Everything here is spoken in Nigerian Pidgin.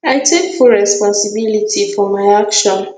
i take full responsibility for my action